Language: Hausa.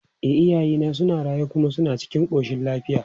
E, iyayena suna raye kuma suna cikin ƙoshin lafiya.